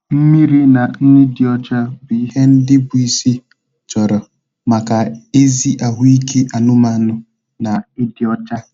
Mmiri na nri dị ọcha bụ ihe ndị bụ isi chọrọ maka ezi ahụike anụmanụ na ịdị ọcha.